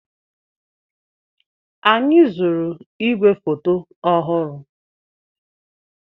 Anyị zụrụ ígwèfoto ọhụrụ.